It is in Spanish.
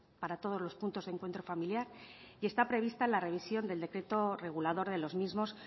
para todos los puntos de encuentro familiar y está prevista la revisión del decreto regulador de los mismos